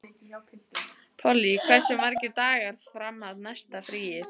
Polly, hversu margir dagar fram að næsta fríi?